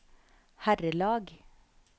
herrelag